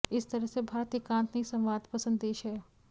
इस तरह से भारत एकांत नहीं संवाद पसंद देश है